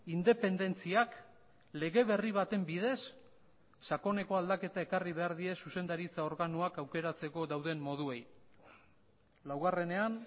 independentziak lege berri baten bidez sakoneko aldaketa ekarri behar die zuzendaritza organoak aukeratzeko dauden moduei laugarrenean